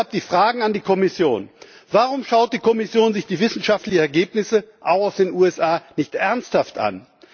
Deshalb die Fragen an die Kommission Warum schaut sich die Kommission die wissenschaftlichen Ergebnisse, auch aus den USA, nicht ernsthaft an?